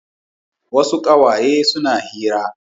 Wasu ƙawaye suna hira.